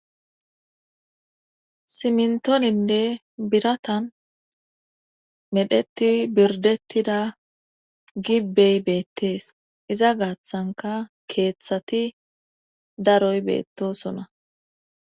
simntooninne biratan medheti birdettida gibbey beettees iza gaaththanka keeththati daroy beettosona